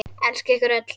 Elska ykkur öll.